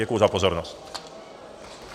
Děkuji za pozornost.